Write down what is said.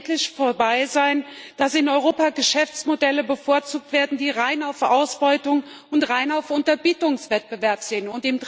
Es muss endlich vorbei sein, dass in Europa Geschäftsmodelle bevorzugt werden, die rein auf Ausbeutung und rein auf Unterbietungswettbewerb zielen.